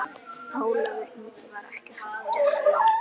Ólafur Ingi var ekki fæddur.